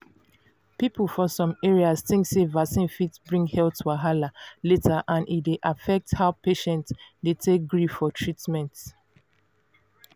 people for some areas think sey vaccine fit bring health wahala later and e dey affect how patients dey take gree for treatment.